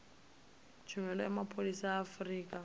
tshumelo ya mapholisa a afurika